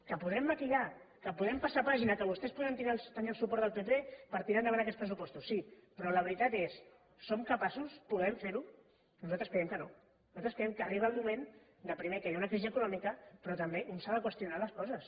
que podrem maquillar que podrem passar pàgina que vostès podran tenir el suport del pp per tirar endavant aquests pressupostos sí però la veritat és som capaços podem fer ho nosaltres creiem que no nosaltres creiem que arriba el moment primer que hi ha una crisi econòmica però també un s’ha de qüestionar les coses